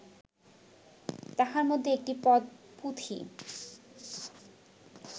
তাহার মধ্যে একটি পদ পুঁথি